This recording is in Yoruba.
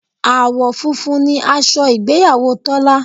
Àwọ̀ funfun ni aṣọ ìgbéyàwó Tọ́lá